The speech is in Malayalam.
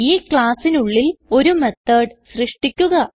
ഈ ക്ലാസ്സിനുള്ളിൽ ഒരു മെത്തോട് സൃഷ്ടിക്കുക